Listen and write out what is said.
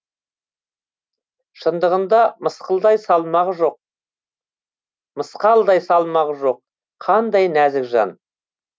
шындығында мысқалдай салмағы жоқ қандай нәзік жан